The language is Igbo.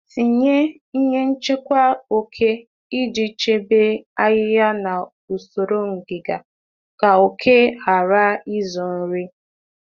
um Tinye ihe mgbochi oke iji chebe usoro um ájá dị ọcha na akpa ígwè akpa ígwè pụọ na izu nri.